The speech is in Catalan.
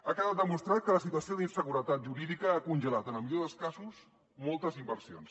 ha quedat demostrat que la situació d’inseguretat jurídica ha congelat en el millor dels casos moltes inversions